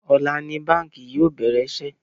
Ọ̀la ni báńkì yóò bẹ̀rẹ̀ iṣẹ́